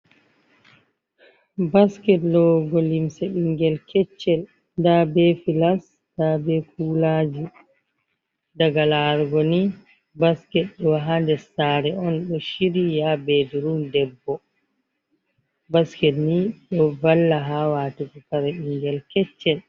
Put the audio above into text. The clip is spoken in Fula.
Basket lowogo limse ɓingel keccel nda be filas nda be kulaji, daga larugo ni basket doha dessare on ɗo shir yi ha bedurum debbo, basket ni do valla ha watugo kare ɓingel keccel.